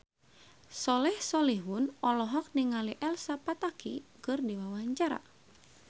Soleh Solihun olohok ningali Elsa Pataky keur diwawancara